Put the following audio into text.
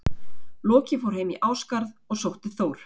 Loki fór heim í Ásgarð og sótti Þór.